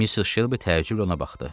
Missis Shelby təəccüblə ona baxdı.